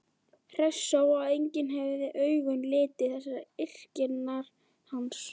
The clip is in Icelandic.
Hressó að enginn hefði augum litið þessar yrkingar hans?